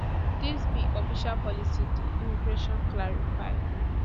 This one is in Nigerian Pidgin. dis be official policy di immigration clarify